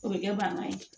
O bɛ kɛ bangan ye